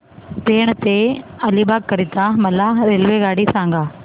पेण ते अलिबाग करीता मला रेल्वेगाडी सांगा